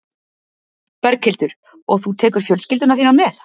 Berghildur: Og þú tekur fjölskylduna þína með?